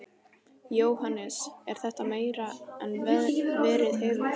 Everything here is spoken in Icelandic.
Jóhannes: Er þetta meira en verið hefur?